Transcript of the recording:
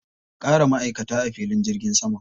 A ƙara ma'aikata a filin jirgin sama.